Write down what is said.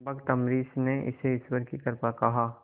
भक्त अम्बरीश ने इसे ईश्वर की कृपा कहा